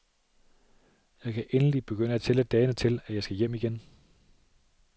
Jeg kan endelig begynde at tælle dagene til, at jeg skal hjem igen.